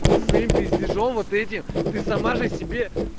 пиздежом вот эти ты сама же себе